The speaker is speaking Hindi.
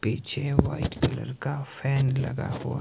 पीछे व्हाइट कलर का फैन लगा हुआ--